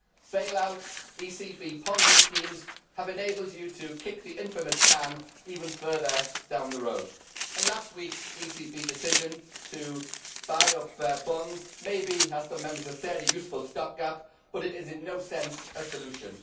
Bail outs ECB Ponzi schemes have enabled you to kick the infamous can even further down the road, and last week's ECB decision to buy up bonds may be, as some Members have said, a useful stop gap, but it is in no sense a solution.